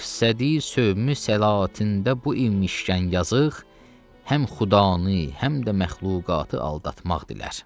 Məqsədi sövümül səlatində bu imişkən yazıq, həm xudanı, həm də məxluqatı aldatmaq dilər.